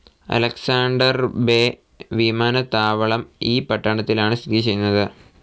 Alexander Bay വിമാനത്താവളം ഈ പട്ടണത്തിലാണ് സ്ഥിതിചെയ്യുന്നത്.